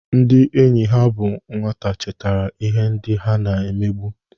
Ndị enyi ha bụ nwata chetara ihe ndị ha na-emebu.